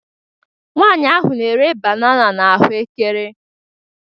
Nwaanyị ahụ na-ere banana na ahụ ahụekere